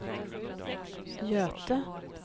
Göte